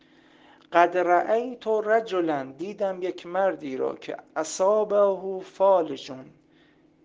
катера и моторы джулиан ассанж